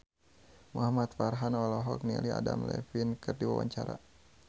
Muhamad Farhan olohok ningali Adam Levine keur diwawancara